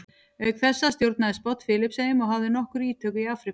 Auk þessa stjórnaði Spánn Filippseyjum og hafði nokkur ítök í Afríku.